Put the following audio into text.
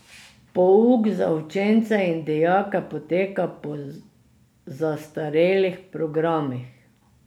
Pouk za učence in dijake poteka po zastarelih programih.